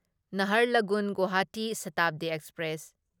Naharlagun Guwahati Shatabdi express